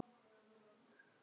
Kaffi og djús.